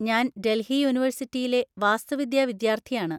ഞാൻ ഡൽഹി യൂണിവേഴ്സിറ്റിയിലെ വാസ്തുവിദ്യാ വിദ്യാർത്ഥിയാണ്.